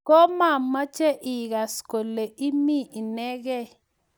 ko mamache igas kole imii inegei